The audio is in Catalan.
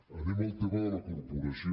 anem al tema de la corporació